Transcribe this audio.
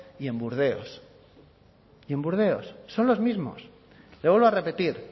y en burdeos y en burdeos son los mismos le vuelvo a repetir